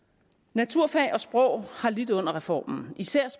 naturfag og sprogfag har lidt under reformen især er